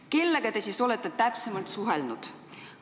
Kellega te siis olete täpsemalt suhelnud?